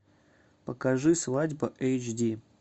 покажи свадьба эйч ди